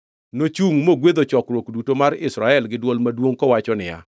Nochungʼ mogwedho chokruok duto mar Israel gi dwol maduongʼ kowacho niya,